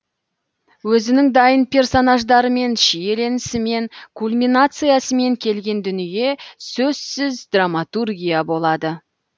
өзінің дайын персонаждарымен шиеленісімен кульминациясымен келген дүние сөзсіз драмматургия болады